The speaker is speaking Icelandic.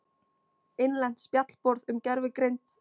Innlent spjallborð um gervigreind.